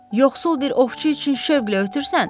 Yoxsul bir ovçu üçün şövqlə ötürsən?